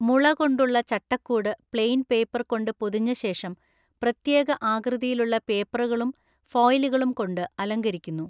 മുള കൊണ്ടുള്ള ചട്ടക്കൂട് പ്ലെയിൻ പേപ്പർ കൊണ്ട് പൊതിഞ്ഞ ശേഷം പ്രത്യേക ആകൃതിയിലുള്ള പേപ്പറുകളും ഫോയിലുകളും കൊണ്ട് അലങ്കരിക്കുന്നു.